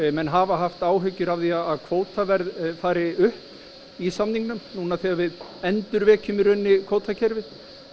menn hafa haft áhyggjur að því að kvótaverð fari upp í samningnum núna þegar við endurvekjum í rauninni kvótakerfið